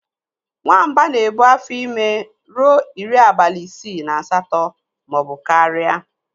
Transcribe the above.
Nwamba na-ebu afọ ime ruo iri abalị isii na asatọ maọbụ karịa.